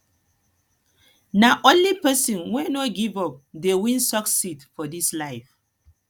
nah only pesin wey no give up dey win succeed for dis life